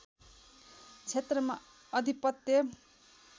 क्षेत्रमा अधिपत्य